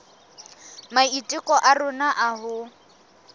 maiteko a rona a ho